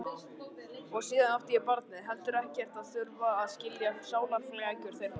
Og síðan átti ég, barnið, heldur ekkert að þurfa að skilja sálarflækjur þeirra.